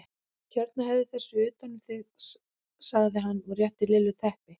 Hérna vefðu þessu utan um þig sagði hann og rétti Lillu teppi.